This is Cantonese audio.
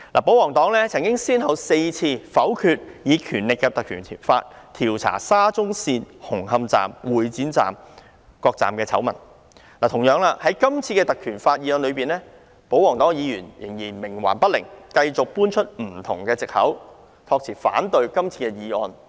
保皇黨曾先後4次否決引用《條例》調查有關沙中線紅磡站和會展站等各車站的醜聞，同樣地，就今次根據《條例》提出的議案，保皇黨議員仍然冥頑不靈，繼續搬出各種藉口，託辭反對今天的議案。